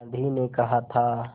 गांधी ने कहा था